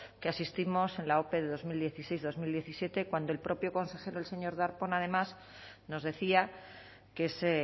que asistimos en la ope de dos mil dieciséis dos mil diecisiete cuando el propio consejero el señor darpón además nos decía que se